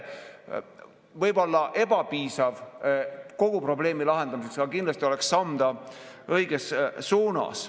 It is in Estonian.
Võib-olla ebapiisav kogu probleemi lahendamiseks, aga kindlasti oleks see samm õiges suunas.